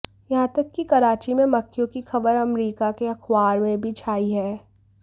यहां तक की कराची में मक्खियों की खबर अमेरिका के अखबार में भी छाई है